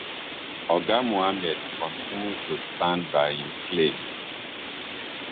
oga mohammed kontinu to stand by im claim